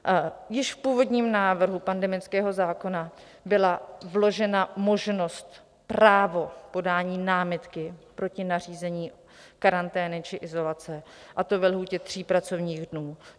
Již v původním návrhu pandemického zákona byla vložena možnost, právo podání námitky proti nařízení karantény či izolace, a to ve lhůtě tří pracovních dnů.